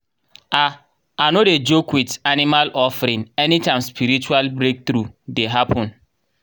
i i no dey joke with animal offering anytime spiritual breakthrough dey happen.